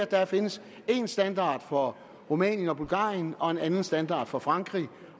der findes én standard for rumænien og bulgarien og en anden standard for frankrig